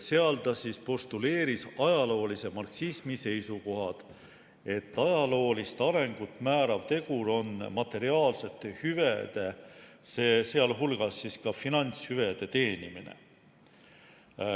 Selles postuleeris ta ajaloolise marksismi seisukoha, et ajaloolist arengut määrav tegur on materiaalsete hüvede, sh finantshüvede teenimine.